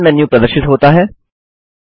option menu प्रदर्शित होता है